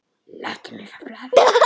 Láttu mig fá blaðið!